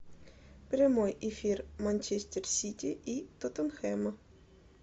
прямой эфир манчестер сити и тоттенхэма